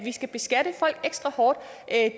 skal beskatte folk ekstra hårdt